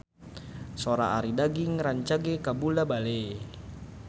Sora Arie Daginks rancage kabula-bale